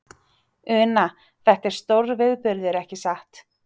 Una, þetta er stórviðburður, ekki satt?